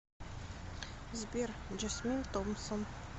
сбер джасмин томпсон